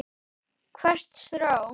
Hvert strá.